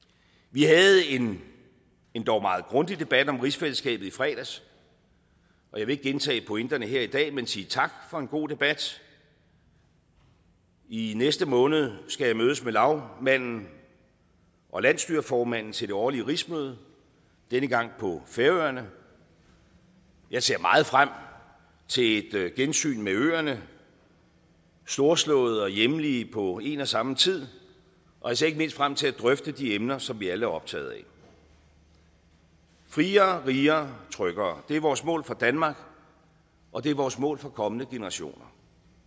vi havde en endog meget grundig debat om rigsfællesskabet i fredags jeg vil ikke gentage pointerne her i dag men sige tak for en god debat i næste måned skal jeg mødes med lagmanden og landsstyreformanden til det årlige rigsmøde denne gang på færøerne jeg ser meget frem til et gensyn med øerne storslåede og hjemlige på en og samme tid og jeg ser ikke mindst frem til at drøfte de emner som vi alle er optaget af friere rigere tryggere det er vores mål for danmark og det er vores mål for kommende generationer